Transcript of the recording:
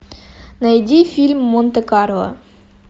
найди фильм монте карло